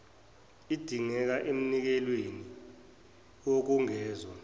idingeke emnikelweni wokwengezwa